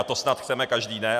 A to snad chceme každý, ne?